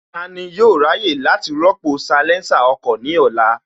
Tani yóò ráyè láti rọ́pò bátìrì salésà ọkọ̀ ní ọ̀la?